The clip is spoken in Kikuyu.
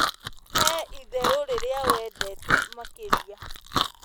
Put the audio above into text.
he ĩtherũ rĩrĩa wendete makĩrĩa